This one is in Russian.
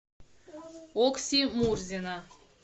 окси мурзина